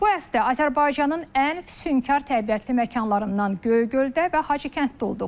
Bu həftə Azərbaycanın ən füsunkar təbiətli məkanlarından Göygöldə və Hacıkənddə olduq.